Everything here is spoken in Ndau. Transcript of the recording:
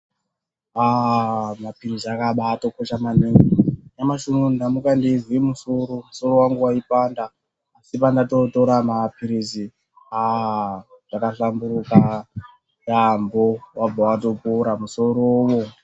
Aaa mapilizi akabaatokosha maningi nyamushi unowu ndamuka ndeizwe musoro musoro wangu waipanda asi pandandotora mapilizi aa zvakahlamburuka yaamho wabva watopora musorowo.